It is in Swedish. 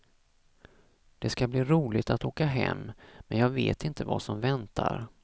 Det ska bli roligt att åka hem, men jag vet inte vad som väntar.